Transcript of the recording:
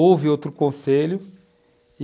Houve outro conselho.